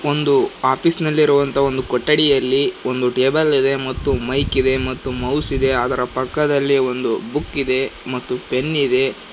ಒಂದು ಆಫೀಸ್ ನಲ್ಲಿ ಇರುವಂತ ಒಂದು ಕೊಠಡಿಯಲ್ಲಿ ಒಂದು ಟೇಬಲ್ ಇದೆ ಮತ್ತು ಮೈಕ್ ಇದೆ ಮತ್ತು ಮೌಸ್ ಇದೆ ಅದರ ಪಕ್ಕದಲ್ಲಿ ಒಂದು ಬುಕ್ ಇದೆ ಮತ್ತು ಪೆನ್ ಇದೆ.